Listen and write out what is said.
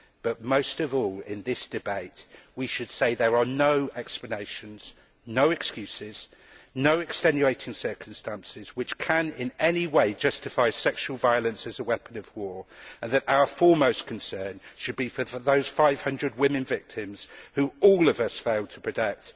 But most of all in this debate, we should say that there are no explanations, no excuses, no extenuating circumstances which can in any way justify sexual violence as a weapon of war, and that our foremost concern should be for those 500 women victims who all of us failed to protect.